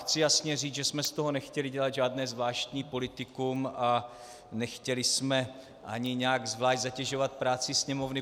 Chci jasně říct, že jsme z toho nechtěli dělat žádné zvláštní politikum a nechtěli jsme ani nějak zvlášť zatěžovat práci Sněmovny.